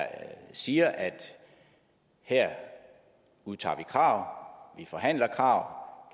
siger at her udtager vi krav vi forhandler krav